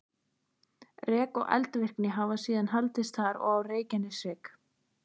Rek og eldvirkni hafa síðan haldist þar og á Reykjaneshrygg.